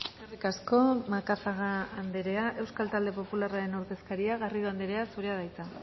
eskerrik asko macazaga anderea euskal talde popularraren ordezkaria garrido anderea zurea da hitza